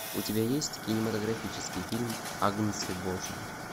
у тебя есть кинематографический фильм агнцы божьи